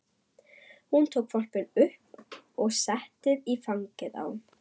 Hún tók hvolpinn upp og setti í fangið á